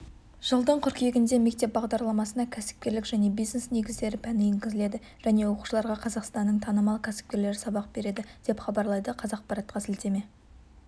жылдың қыркүйегінде мектеп бағдарламасына кәсіпкерлік және бизнес негіздері пәні енгізіледі және оқушыларға қазақстанның танымал кәсіпкерлері сабақ береді деп хабарлайды қазақпаратқа сілтеме